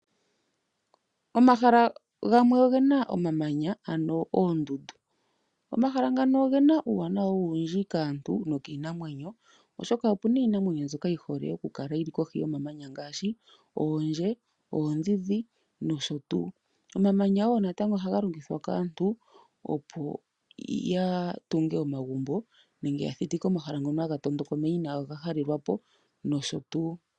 Omahala gamwe ogena omamanya, ano oondundu. Omahala ngano ogena uuwanawa owundji kaantu nokiinamwenyo, oshoka opena iinamwenyo yimwe yi hole oku kala kohi yomamanya ngaashi oondje, oondhi no sho tuu. Omamanya wo natango oha ga longithwa kaantu opo ya tunge oma gumbo, nenge ya thitike omahala ngono ha ga tondoka omeya, ina ga halelwapo nosho tuu.